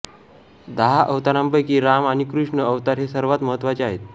दहा अवतारांपैकी राम आणि कृष्ण अवतार हे सर्वात महत्त्वाचे आहेत